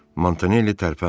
Montanelli tərpənmirdi.